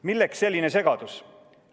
Milleks selline segadus?